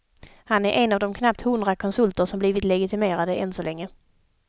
Han är en av de knappt hundra konsulter som blivit legitimerade än så länge.